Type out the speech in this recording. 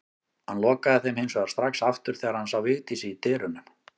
Hann lokaði þeim hins vegar strax aftur þegar hann sá Vigdísi í dyrunum.